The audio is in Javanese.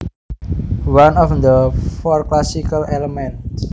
One of the four classical elements